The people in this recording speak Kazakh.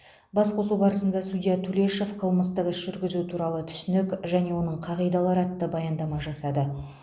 басқосу барысында судья тулешов қылмыстық іс жүргізу туралы түсінік және оның қағидалары атты баяндама жасады